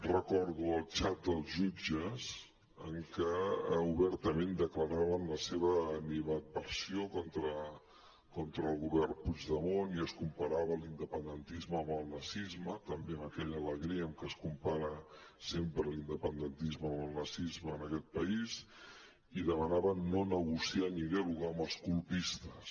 recordo el xat dels jutges en què obertament declaraven la seva animadversió contra el govern puigdemont i es comparava l’independentisme amb el nazisme també amb aquella alegria amb què es compara sempre l’independentisme amb el nazisme en aquest país i demanaven no negociar ni dialogar amb els colpistes